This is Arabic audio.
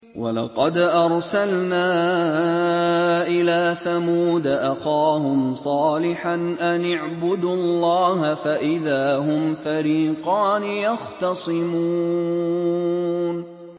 وَلَقَدْ أَرْسَلْنَا إِلَىٰ ثَمُودَ أَخَاهُمْ صَالِحًا أَنِ اعْبُدُوا اللَّهَ فَإِذَا هُمْ فَرِيقَانِ يَخْتَصِمُونَ